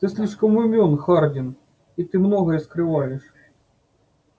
ты слишком умён хардин и ты многое скрываешь